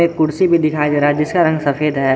कुर्सी भी दिखाई दे रहा है जिसका रंग सफेद है।